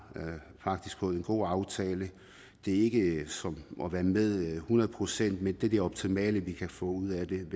fået en god aftale det er ikke som at være med hundrede procent men det er det optimale vi kan få ud af